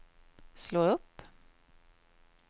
slå upp